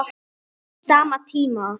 Að minnsta kosti tvær okkar.